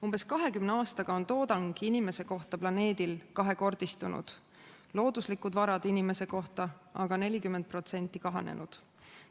Umbes 20 aastaga on toodang ühe inimese kohta planeedil kahekordistunud, looduslikud varad inimese kohta aga 40% kahanenud.